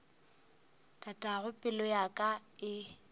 tatago pelo ya ka e